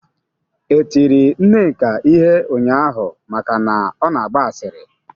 E tiri Nneka ihe ụnyaahụ maka na ọ na-agba asịrị?